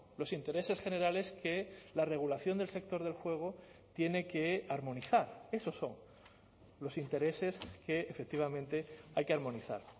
los intereses generales que la regulación del sector del juego tiene que armonizar esos son los intereses que efectivamente hay que armonizar